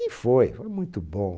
E foi, foi muito bom.